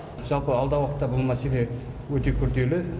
жалпы алдағы уақытта бұл мәселе өте күрделі